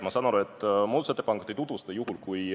Ma saan aru, et muudatusettepanekut ei tutvustata juhul, kui ...